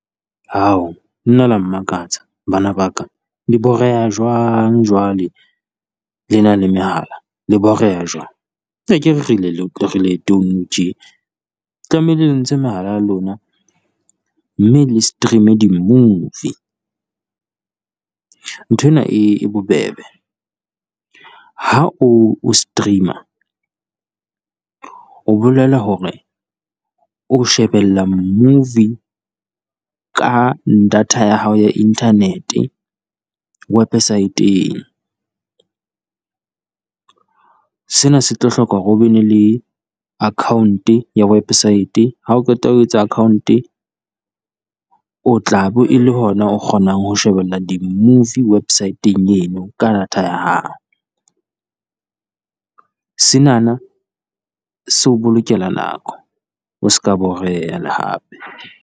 Nna le ya mmakatsa bana ba ka, le boreha jwang jwale le na le mehala? Le boreha jwang? Akere re leetong tje tlamehile le ntshe mehala ya lona, mme le stream-e di movie nthwena e e bobebe. Ha o o stream-a, o bolela hore o shebella movie ka data ya hao ya inthanete wepesaeteng, sena se tlo hloka hore o be ne le account-e ya wepesaete. Ha o qeta ho etsa account-e o tla be e le ho na o kgonang ho shebella di movie website-eng eno ka data ya hao, Senana se o bolokela nako o se ka boreha le hape.